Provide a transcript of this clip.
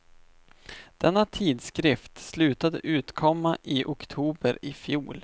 Denna tidskrift slutade utkomma i oktober i fjol.